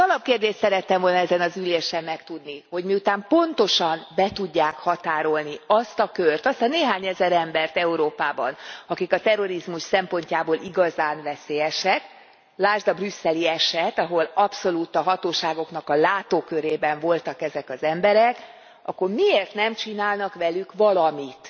Az alapkérdést szerettem volna ezen az ülésen megtudni hogy miután pontosan be tudják határolni azt a kört, azt a néhány ezer embert Európában, akik a terrorizmus szempontjából igazán veszélyesek, lásd a brüsszeli eset, ahol abszolút a hatóságoknak a látókörében voltak ezek az emberek, akkor miért nem csinálnak velük valamit?